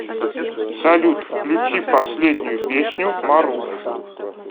салют включи последнюю песню маруф